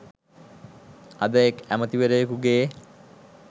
අද එක් ඇමැතිවරයකුගේ